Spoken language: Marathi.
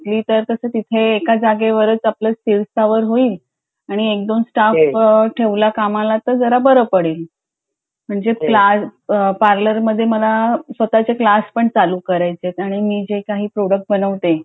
तर मग तिथे एका जागेवरच सगळं स्थिर स्थावर होईल आणि एक दोन स्टाफ ठेवला का मला तर जरा बरं पडेल म्हणजे पार्लर मधे मला स्वतचे क्लास पण चालू करायचे आहेत आणि मी जे काही प्रॉडक्ट बनवते